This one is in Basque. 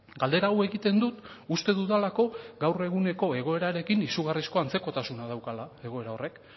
galdera hau egiten dut uste dudalako gaur eguneko egoerarekin izugarrizko antzekotasuna daukala egoera horrek